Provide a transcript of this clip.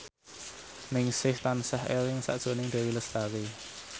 Ningsih tansah eling sakjroning Dewi Lestari